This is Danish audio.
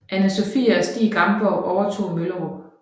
Anne Sophie og Stig Gamborg overtog Møllerup